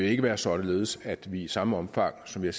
ikke være således at vi i samme omfang som vi